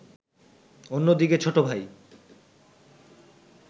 অন্যদিকে ছোটভাই